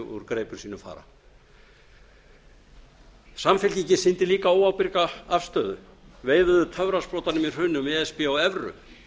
úr greipum sínum fara samfylkingin sýndi líka óábyrga afstöðu veifaði töfrasprotanum í hruninu um e s b og evru